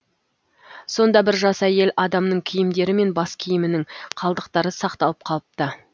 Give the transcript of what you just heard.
сонда бір жас әйел адамның киімдері мен бас киімінің қалдықтары сақталып қалыпты